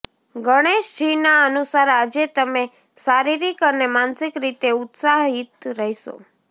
ગણેશજીના અનુસાર આજે તમે શારીરિક અને માનસિક રીતે ઉત્સાહિત રહેશો